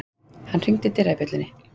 Hann hringdi dyrabjöllunni.